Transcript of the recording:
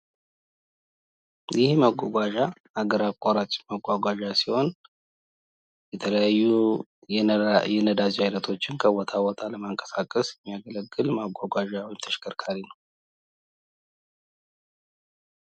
ይህ መጓጓዣ ሀገር አቋራጭ መጓጓዣ ሲሆን የተለያዩ ነዳጆችን ከቦታ ቦታ የሚያንቀሳቅስ መጓጓዣ ወይም ተሽከርካሪ ነው ።